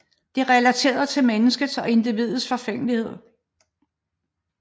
Det relaterer til menneskets og individets forgængelighed